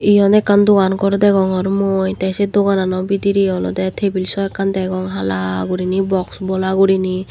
iyen ekkan dogan ghor degongor mui the se dogan ano bidiri olode table sw ekkan degong hala guriney box bola guriney.